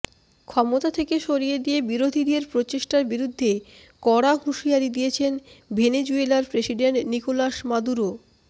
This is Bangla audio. ক্ষমতা থেকে সরিয়ে দিয়ে বিরোধীরাদের প্রচেষ্টার বিরুদ্ধে কড়া হুঁশিয়ারি দিয়েছেন ভেনেজুয়েলার প্রেসিডেন্ট নিকোলাস মাদুরো